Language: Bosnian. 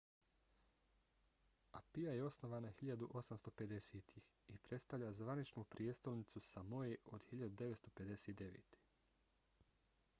apia je osnovana 1850-ih i predstavlja zvaničnu prijestolnicu samoe od 1959